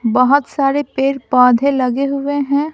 बहुत सारे पेड़ पौधे लगे हुए हैं।